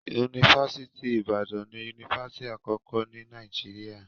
Yunifásitì Ìbàdàn ni yunifásitì àkọ́kọ́ ní Nàìjíríà.